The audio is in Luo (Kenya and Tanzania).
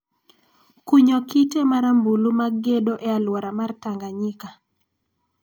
kunyo kite marambulu mag gedo e aluora mar Tanganyika.